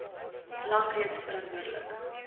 lank reeds verantwoordelik